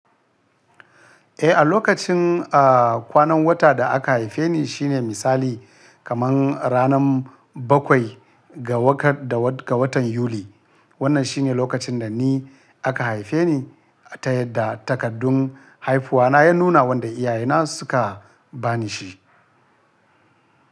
Eh, a lokacin kwanan wata da aka haife ni shine misali kamar ranar bakwai ga wakar da ga watan Yuli. Wannan shine lokacin da ni aka haife ni ta yadda takaddun haifuwa na ya nuna wanda iyaye na suka ba ni shi.